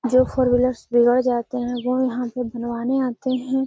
जो four wheelers बिगड़ जाते है वो यहाँ पे बनवाने आते है।